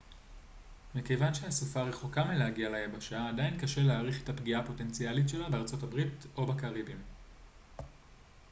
מכיוון שהסופה רחוקה מלהגיע ליבשה עדיין קשה להעריך את הפגיעה הפוטנציאלית שלה בארצות הברית או בקריביים